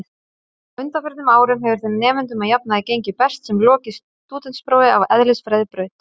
Á undanförnum árum hefur þeim nemendum að jafnaði gengið best sem lokið stúdentsprófi af eðlisfræðibraut.